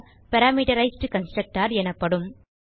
parameterized constructor எனப்படும்